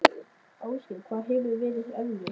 Ásgeir: Hvað hefur verið erfiðast?